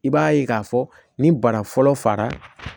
I b'a ye k'a fɔ ni bana fɔlɔ fara